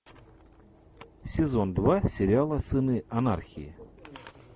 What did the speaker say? сезон два сериала сыны анархии